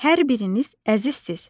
Hər biriniz əzizsiz.